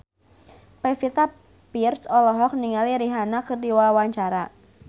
Pevita Pearce olohok ningali Rihanna keur diwawancara